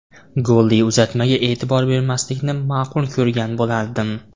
Golli uzatmaga e’tibor bermaslikni ma’qul ko‘rgan bo‘lardim.